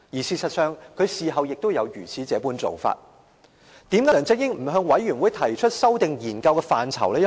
事實上，他事後也有這樣做法。為甚麼一開始梁振英不向專責委員會提出修訂研究的範疇？